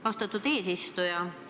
Austatud eesistuja!